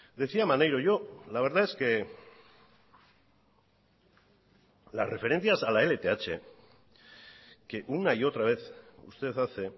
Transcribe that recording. decía maneiro yo la verdad es que las referencias a la lth que una y otra vez usted hace